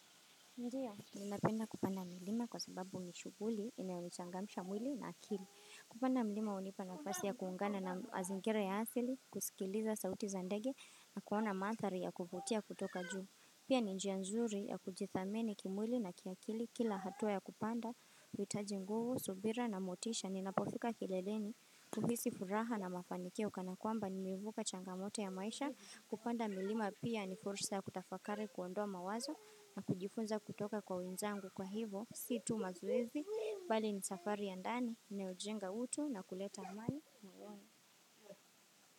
Ndiyo, ninapenda kupanda milima kwa sababu ni shughuli inayonichangamsha mwili na akili. Kupanda milima hunipa nafasi ya kuungana na mazingira ya asili, kusikiliza sauti za ndege na kuona maathari ya kuvutia kutoka juu. Pia ni njia nzuri ya kujithamini kimwili na kiakili. Kila hatua ya kupanda huitaji nguvu subira na motisha. Ninapofika kileleni huhisi furaha na mafanikio kana kwamba nimevuka changamoto ya maisha. Kupanda milima pia ni fursa ya kutafakari kuondoa mawazo na kujifunza kutoka kwa wenzangu kwa hivo sio tu mazoezi bali ni safari ya ndani inayojenga utu na kuleta amani moyoni.